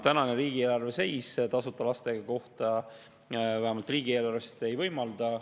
Tänane riigieelarve seis tasuta lasteaiakohta vähemalt riigieelarvest ei võimalda.